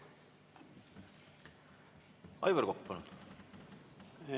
Aivar Kokk, palun!